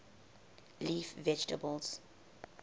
leaf vegetables